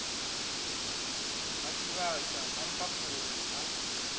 ha tshivhasa ha mphaphuli ha